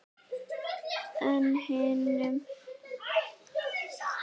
En hinum?